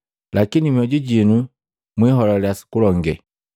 Lakini mmoju jinu, mwiholale sukulonge,